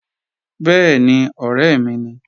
Bẹ́ẹ̀ni, ọ̀rẹ́ mi ni